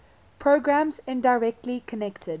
programs indirectly connected